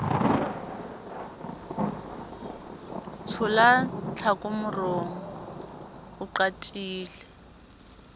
tshola tlhako morong o qatile